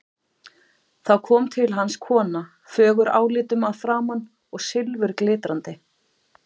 Þá kom til hans kona, fögur álitum að framan og silfurglitrandi.